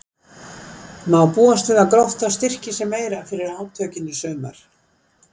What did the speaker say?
Má búast við að Grótta styrki sig meira fyrir átökin í sumar?